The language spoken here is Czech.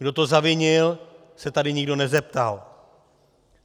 Kdo to zavinil, se tady nikdo nezeptal.